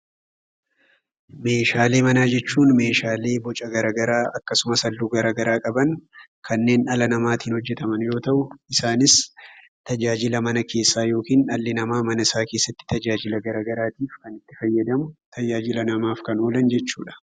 Meeshaalee manaa jechuun meeshaalee boca garaa garaa akkasumas halluu garaa garaa qaban kanneen dhala namaatiin hojjetaman yeroo ta'u, isaanis tajaajila mana keessaa yookiin dhalli namaa mana isaa keessatti tajaajila gara garaatiif kan itti fayyadamu, tajaajila namaaf kan oolan jechuudha.